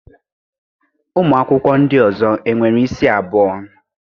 Ụmụ akwụkwọ ndị ọzọ e nwere isi abụọ?